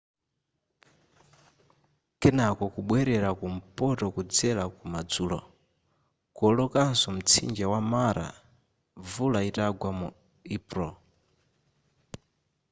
kenako kubwerera kumpoto kudzera kumadzulo kuwolokanso mtsinje wa mara mvula itagwa mu epulo